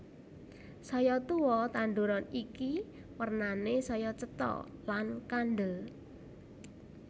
Saya tuwa tanduran iki wernané saya cetha lan kandel